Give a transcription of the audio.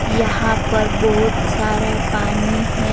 यहां पर बहुत सारा पानी है.